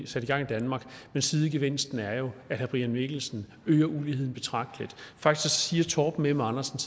sat i gang i danmark men sidegevinsten er jo at herre brian mikkelsen øger uligheden betragteligt faktisk siger torben m andersen